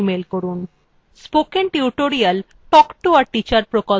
spoken tutorial talk to a teacher প্রকল্পের অংশবিশেষ